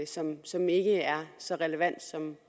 som som ikke er så relevant